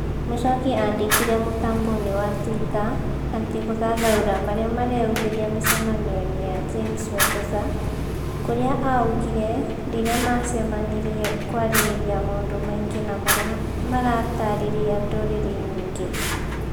Muchoki andĩkire mutamboi-inĩ wa Twitter atĩ gũthathaura marĩa mareyumĩria mĩcamanio-ĩnĩ ya James Wekesa, kurĩa augire rĩrĩa macemanirie 'kwarĩrĩria maũndũ maingĩ na maria maratarĩria ndurĩrĩ nyingĩ